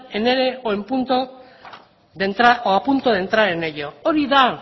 en ere o a punto de entrar en ello hori da